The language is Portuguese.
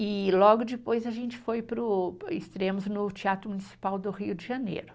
E logo depois a gente foi para o, estreamos no Teatro Municipal do Rio de Janeiro.